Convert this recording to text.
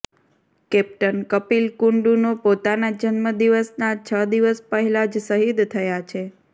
captain Kapil કુંડૂનો પોતાના જન્મદિવસના છ દિવસ પહેલા જ શહીદ થયા છે